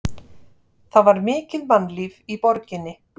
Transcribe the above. Það var mikið mannlíf í borginni.